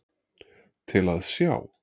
Til að sjá.